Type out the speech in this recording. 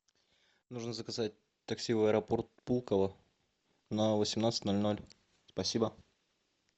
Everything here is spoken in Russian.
нужно заказать такси в аэропорт пулково на восемнадцать ноль ноль спасибо